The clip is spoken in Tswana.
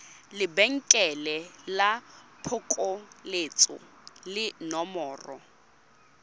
lebenkele la phokoletso le nomoro